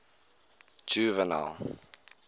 juvenal